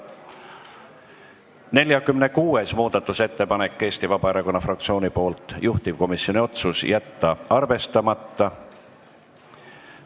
46. muudatusettepanek on Eesti Vabaerakonna fraktsioonilt, juhtivkomisjoni otsus: jätta arvestamata.